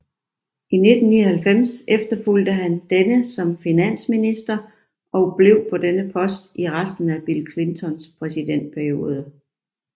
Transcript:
I 1999 efterfulgte han denne som finansminister og blev på denne post i resten af Bill Clintons præsidentperiode